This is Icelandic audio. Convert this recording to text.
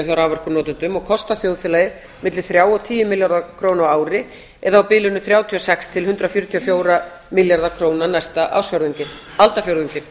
hjá raforkunotendum og kosta þjóðfélagið milli þrjá og tíu milljarða króna á ári eða á bilinu þrjátíu og sex til hundrað fjörutíu og fjóra milljarða króna næsta aldarfjórðunginn